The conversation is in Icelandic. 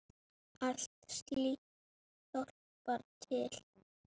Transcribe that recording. Allt slíkt hjálpar til.